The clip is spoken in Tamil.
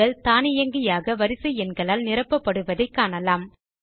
செல் கள் தானியங்கியாக வரிசை எண்களால் நிரப்பப்படுவதை காணலாம்